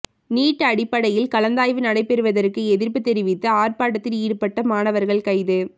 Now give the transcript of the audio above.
NEET அடிப்படையில் கலந்தாய்வு நடைபெறுவதற்கு எதிர்ப்பு தெரிவித்து ஆர்ப்பாட்டத்தில் ஈடுபட்ட மாணவர்கள் கைது